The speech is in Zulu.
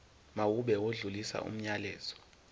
mawube odlulisa umyalezo